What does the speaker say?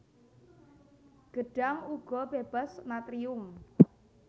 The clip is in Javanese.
Gedhang uga bébas natrium